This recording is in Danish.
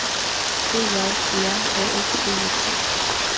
E J E R A F G I F T